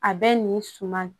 A bɛ nin suma